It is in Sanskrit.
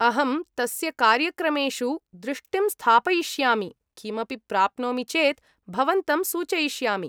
अहं तस्य कार्यक्रमेषु दृष्टिं स्थापयिष्यामि, किमपि प्राप्नोमि चेत् भवन्तं सूचयिष्यामि।